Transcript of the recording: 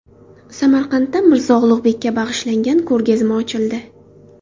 Samarqandda Mirzo Ulug‘bekka bag‘ishlangan ko‘rgazma ochildi.